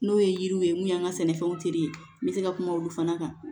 N'o ye yiriw ye mun y'an ka sɛnɛfɛnw tere ye n bɛ se ka kuma olu fana kan